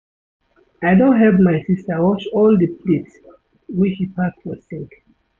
I don help my sista wash all di plates wey she pack for sink.